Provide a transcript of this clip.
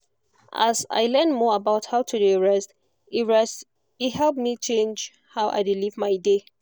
as i learn more about how to dey rest e rest e help me change how i dey live my day.